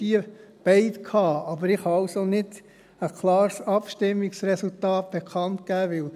Ich kann also nicht ein klares Abstimmungsresultat bekannt geben;